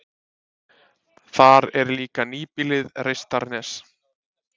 Þar er líka nýbýlið Reistarnes.